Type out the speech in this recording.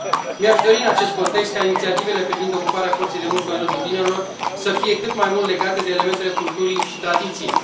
Mi aș dori, în acest context, ca inițiativele privind ocuparea forței de muncă în rândul tinerilor să fie cât mai mult legate de elementele culturii și tradiției.